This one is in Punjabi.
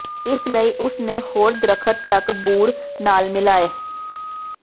ਇਸ ਲਈ ਉਸ ਨੇ ਹੋਰ ਦਰਖ਼ਤ ਤੱਕ ਬੂਰ ਨਾਲ ਮਿਲਾਏ